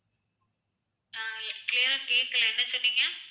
ஆஹ் clear ஆ கேக்கல என்ன சொன்னிங்க